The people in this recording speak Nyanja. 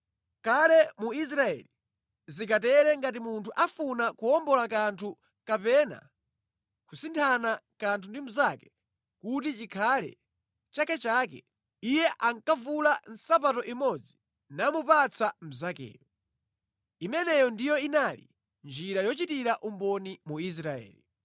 (Kale mu Israeli zinkatere ngati munthu afuna kuwombola kanthu kapena kusinthana kanthu ndi mnzake kuti chikhale chakechake. Iye ankavula nsapato imodzi namupatsa mnzakeyo. Imeneyo ndiyo inali njira yochitira umboni mu Israeli).